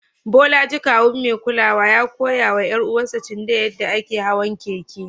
Bolaji, kawun mai kulawa, ya koya wa ƴar uwarsa Chindaya yadda ake hawan keke.